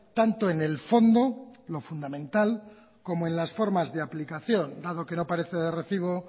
tanto en el fondo lo fundamental como en las formas de aplicación dado que no aparece de recibo